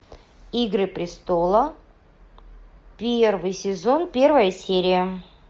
игры престолов первый сезон первая серия